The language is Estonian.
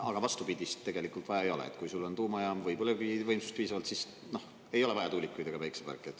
Aga vastupidist tegelikult vaja ei ole, et kui sul on tuumajaam või põlevkivivõimsust piisavalt, siis, noh, ei ole vaja tuulikuid ega päikeseparke.